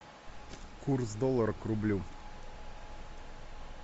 курс доллара к рублю